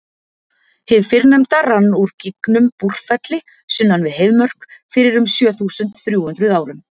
hið fyrrnefnda rann úr gígnum búrfelli sunnan við heiðmörk fyrir um sjö þúsund þrjú hundruð árum